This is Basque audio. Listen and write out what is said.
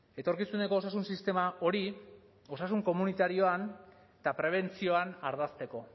etorkizuneko osasun sistema hori osasun komunitarioan eta prebentzioan ardazteko